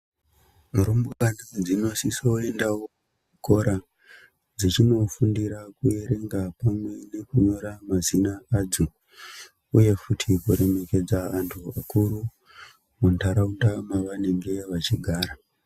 Rumbwana dzinosisa kuendawo kuchikora dzechindofundira kuerenga pamwe nekunyora mazina adzo. Uye futi kuremekedza antu akuru muntaraunda mavanenge vachigara.